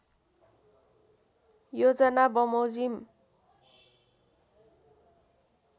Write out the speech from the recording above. योजना बमोजिम